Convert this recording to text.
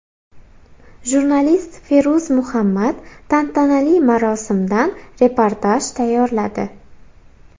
Jurnalist Feruz Muhammad tantanali marosimdan reportaj tayyorladi.